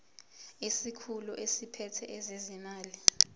isikhulu esiphethe ezezimali